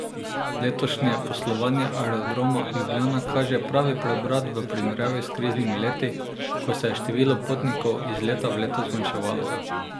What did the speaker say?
Letošnje poslovanje Aerodroma Ljubljana kaže pravi preobrat v primerjavi s kriznimi leti, ko se je število potnikov iz leta v leto zmanjševalo.